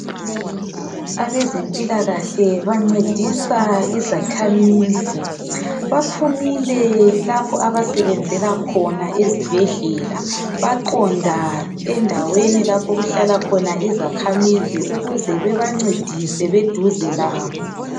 Abezempilakahle bancedisa izakhamizi. Baphumile lapho abasebenzela khona ezibhedlela baqonda endaweni lapho okuhlala khona izakhamizi ukuze bebancedise beduze labo